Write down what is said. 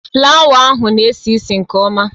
Flawa ahụ na-esi ísì nke ọma